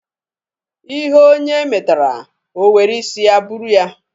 Ihe onye metara, o were isi ya buru ya.